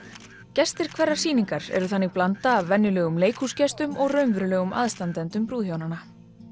gestir hverrar sýningar eru þannig blanda af venjulegum leikhúsgestum og raunverulegum aðstandendum brúðhjónanna